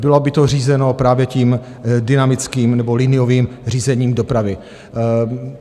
Bylo by to řízeno právě tím dynamickým nebo liniovým řízením dopravy.